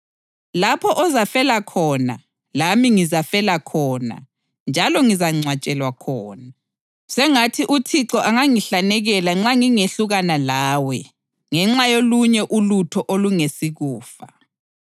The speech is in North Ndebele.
Lapho ozafela khona lami ngizafela khona njalo ngizangcwatshelwa khona. Sengathi uThixo angangihlanekela nxa ngingehlukana lawe ngenxa yolunye ulutho olungesikufa.”